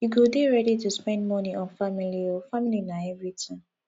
you go dey ready to spend moni on family o family na everytin